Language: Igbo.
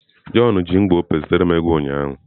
John ji ngwa Opay zitere m ego ụnyaahụ.